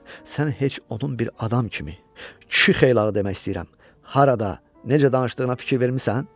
Sən heç onun bir adam kimi, kişi xeylağı demək istəyirəm, harada, necə danışdığına fikir vermisən?